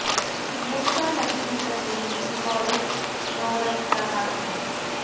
ਮੂਸਾ ਨਬੀ ਦੀ ਤਸਵੀਰ ਨਿਕੋਲਉਸ ਸਪੋਰਰ ਦਾ ਕੰਮ ਹੈ